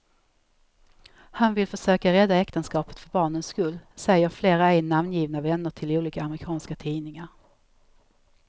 Han vill försöka rädda äktenskapet för barnens skull, säger flera ej namngivna vänner till olika amerikanska tidningar.